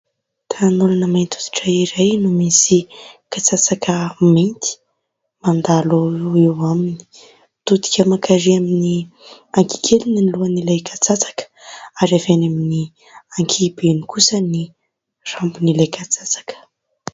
Tanan'olona mainty hoditra iray no misy katsatsaka mainty mandalo eo aminy. Mitodika mankarỳ amin'ny ankihikeliny ny lohan'ilay katsatsaka ary avy eny amin'ny ankihibeny kosa ny rambon'ilay katsatsaka.